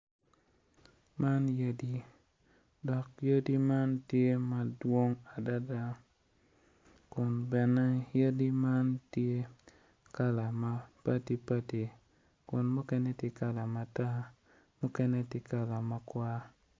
Man yadi dok yadi man tye madwong adada kun bene yadi man tye kala mapadi padi kun mukene tye kala matar mukene tye kala makwar.